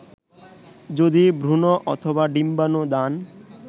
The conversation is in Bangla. যদি ভ্রুণ অথবা ডিম্বানু দান